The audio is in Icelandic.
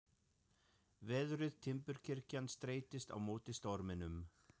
Veðruð timburkirkjan streittist á móti storminum.